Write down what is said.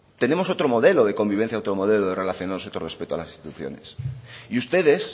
tenemos otro modelo de convivencia otro modelo de relacionarse otro respeto a las instituciones y ustedes